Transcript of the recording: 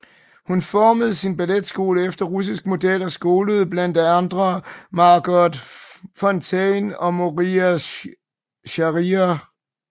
Hun formede sin balletskole efter russisk model og skolede blandt andre Margot Fonteyn og Moira Shearer